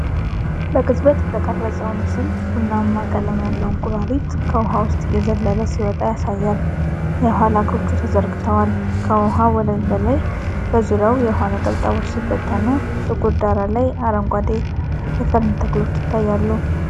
በቅጽበት የተቀረጸው ምስል ቡናማ ቀለም ያለው እንቁራሪት ከውኃው ውስጥ እየዘለለ ሲወጣ ያሳያል፤ የኋላ እግሮቹ ተዘርግተዋል። ከውኃው ወለል በላይ በዙሪያው የውኃ ነጠብጣቦች ሲበተኑ፣ ጥቁር ዳራ ላይ አረንጓዴ የፈርን ተክሎች ይታያሉ።